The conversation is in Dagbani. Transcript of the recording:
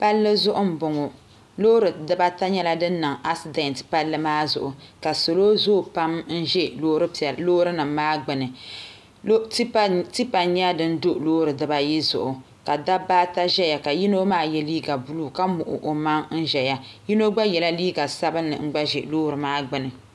Palli zuɣu n bɔŋɔ loori dibata nyɛla din niŋ asidɛnt palli maa zuɣu ka salo zooi pam n ʒi loori nim maa gbuni tipa n nyɛ din do loori dibayi zuɣu ka dabba ata ʒɛya ka yino maa yɛ liiga buluu ka muɣi o maŋ ʒɛya yino gba nyɛla ŋun gba yɛ liiga sabinli ʒɛ loori maa gbuni